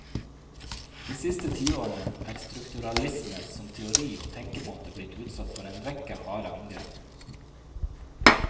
De siste tiårene er strukturalisme som teori og tenkemåte blitt utsatt for en rekke harde angrep.